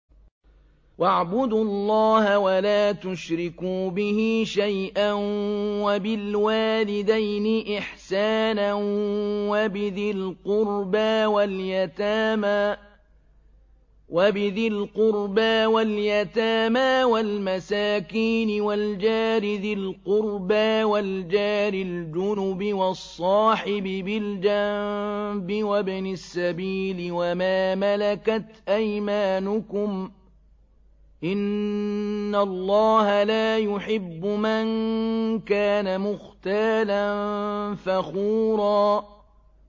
۞ وَاعْبُدُوا اللَّهَ وَلَا تُشْرِكُوا بِهِ شَيْئًا ۖ وَبِالْوَالِدَيْنِ إِحْسَانًا وَبِذِي الْقُرْبَىٰ وَالْيَتَامَىٰ وَالْمَسَاكِينِ وَالْجَارِ ذِي الْقُرْبَىٰ وَالْجَارِ الْجُنُبِ وَالصَّاحِبِ بِالْجَنبِ وَابْنِ السَّبِيلِ وَمَا مَلَكَتْ أَيْمَانُكُمْ ۗ إِنَّ اللَّهَ لَا يُحِبُّ مَن كَانَ مُخْتَالًا فَخُورًا